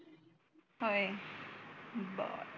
होय बर